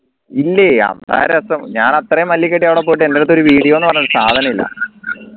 ഇല്ലേ അത്ര രസം ഞാൻ അത്രയും കെട്ടി അവിടെ പോയിട്ട് എൻറെ അടുത്ത് ഒരു video ന്ന് പറഞ്ഞ ഒരു സാധനം ഇല്ല